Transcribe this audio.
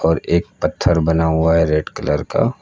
और एक पत्थर बना हुआ है रेड कलर का।